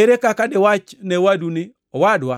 Ere kaka diwach ne owadu ni; owadwa,